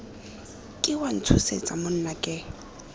ke wa ntshosetsa monna ke